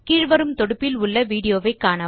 கீழ் வரும் தொடுப்பில் உள்ள விடியோவை காணவும்